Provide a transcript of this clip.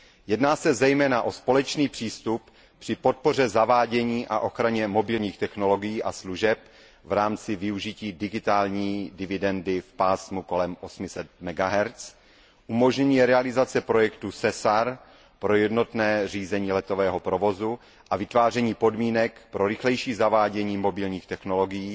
Jedná se zejména o společný přístup při podpoře zavádění a ochraně mobilních technologií a služeb v rámci využití digitální dividendy v pásmu kolem 800 MHz, umožnění realizace projektu SESAR pro jednotné řízení letového provozu a vytváření podmínek pro rychlejší zavádění mobilních technologií